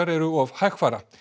eru of hægfara